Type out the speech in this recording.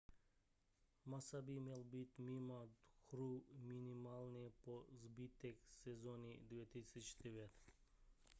massa by měl být mimo hru minimálně po zbytek sezóny 2009